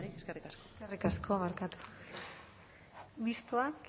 beste barik eskerrik asko eskerrik asko barkatu mistoak